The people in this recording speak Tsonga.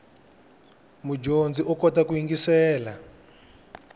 mudyondzi u kota ku yingiselela